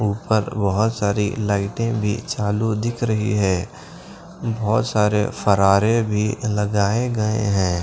ऊपर बहुत सारी लाइटें भी चालू दिख रही है बहुत सारे फरारे भी लगाए गए हैं।